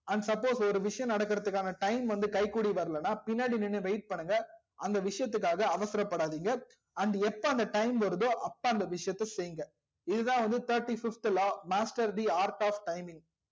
and suppose ஒரு விஷயம் நடகர்துகான time வந்து கைகூடி வர்லனா பின்னாடி நின்னு wait பண்ணுங்க அந்த விசயத்துக்காக அவசர படாதிங்க and எப்போ அந்த time வர்தோ அப்போ அந்த விஷயத்த செய்ங்க இதுதா வந்து thirty fifth law master the orth of timing